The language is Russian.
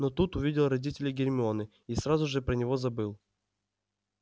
но тут увидел родителей гермионы и сразу же про него забыл